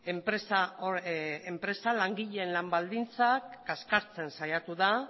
enpresa enpresa langileen lan baldintzak kaskartzen saiatu da